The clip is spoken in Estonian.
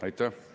Aitäh!